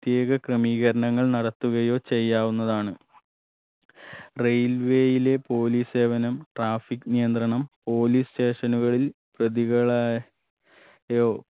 ത്യേക ക്രമീകരണങ്ങൾ നടത്തുകയോ ചെയ്യാവുന്നതാണ് railway യിലെ police സേവനം traffic നിയന്ത്രണം police station ഉകളിൽ പ്രതികളെ യോ